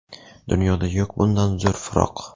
Dunyoda yo‘q bundan zo‘r firoq.